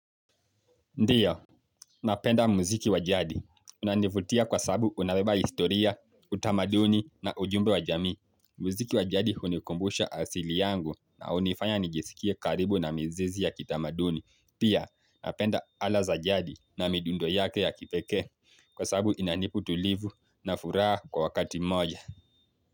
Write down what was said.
Ndio, napenda mziki wa jadi. Unanivutia kwa sababu unabeba historia, utamaduni na ujumbe wa jamii. Mziki wa jadi hunikumbusha asili yangu na hunifanya nijisikie karibu na mizizi ya kitamaduni. Pia, napenda ala za jadi na midundo yake ya kipeke. Kwa sabu inanipa utulivu na furaha kwa wakati moja.